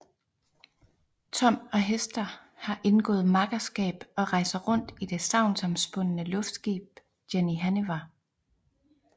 Tom og Hester har indgået makkerskab og rejser rundt i det sagnomspundne luftskib Jenny Hanniver